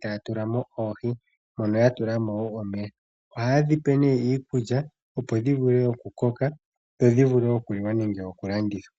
taya tulamo oohi. Mono haa tulamo wo omeya. Ohaye dhipe nduno iikulya, opo dhi vule okukoka, dho dhi vule okuliwa nenge okulandithwa.